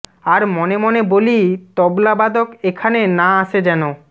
আর মনে মনে বলি তবলাবাদক এখানে না আসে যেন